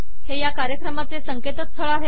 हे या कार्यक्रमाचे संकेतस्थळ आहे